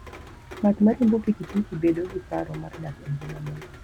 Ng'at ma riembo pikipiki bedo gi paro mar dak e ngima mayot.